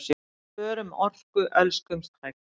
Spörum orku, elskumst hægt!